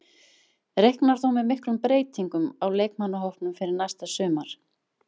Reiknar þú með miklum breytingum á leikmannahópnum fyrir næsta sumar?